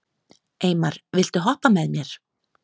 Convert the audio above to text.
Eymar, viltu hoppa með mér?